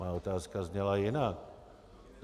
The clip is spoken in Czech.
Má otázka zněla jinak.